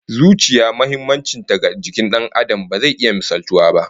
Zuciya muhimmancin ta ga jikin Dan Adam ba zai iya misaltuwa ba